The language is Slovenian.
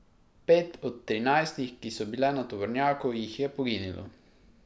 Pet od trinajstih, ki so bile na tovornjaku, jih je poginilo.